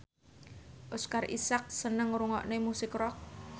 Oscar Isaac seneng ngrungokne musik rock